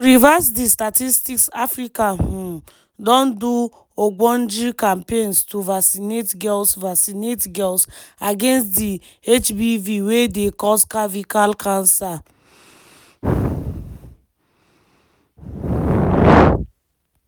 to reverse di statistics africa um don do ogbonge campaigns to vaccinate girls vaccinate girls against di hpv wey dey cause cervical cancer.